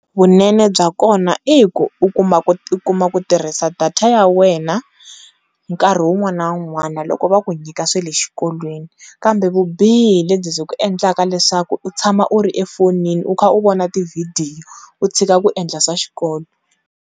Vunene bya kona i ku u kuma ku tirhisa data ya wena nkarhi wun'wana na wun'wana loko va ku nyika swilo xikolweni kambe vubihi hi lebyi byi ku endlaka leswaku u tshama u ri efonini u kha u vona tivhidiyo u tshika ku endla swa xikolo.